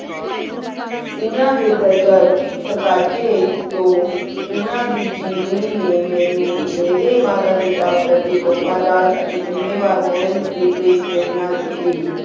ਉਨਾ ਦੀ ਤਾਜੇਰ ਤੇਕਾਚ੍ਯ ਤੂੰ ਉਨਾ ਦੀ ਜੇਵਨੀ ਨੀ ਮਿੰ ਉ ਮੇਰੀ ਮਾਤਾ ਪਿਤਾ ਦਾ ਪ੍ਰਤੀ ਪੁਪਾ ਦਾ ਅਤੀ ਜੁਮ੍ਯਨ ਵੇਰ ਰਹੇਂ ਦਲਾਈ ਲੈ ਪੇਰ੍ਮਨਾ ਦੇਤੀ